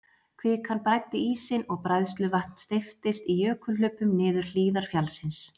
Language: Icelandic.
Kvikan bræddi ísinn og bræðsluvatn steyptist í jökulhlaupum niður hlíðar fjallsins.